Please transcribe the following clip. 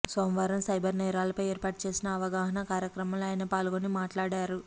సోమవారం సైబర్ నేరాలపై ఏర్పాటు చేసిన అవగాహన కార్యక్రమంలో ఆయన పాల్గొని మాట్లాడారు